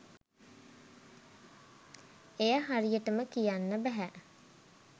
එය හරියටම කියන්න බැහැ.